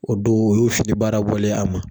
O don o y'o fini baara bɔlen ye a ma.